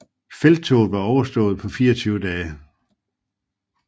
Felttoget var overstået på 24 dage